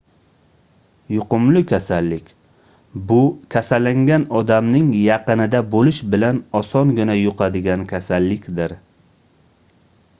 yuqumli kasallik bu kasallangan odamning yaqinida boʻlish bilan osongina yuqadigan kasallikdir